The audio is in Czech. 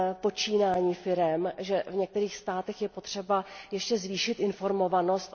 počínání firem a v některých státech je potřeba ještě zvýšit jejich informovanost.